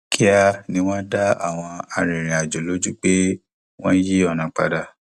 kíá ni wọn dá àwọn arìnrìnàjò lójú pé wọn yí ọnà padà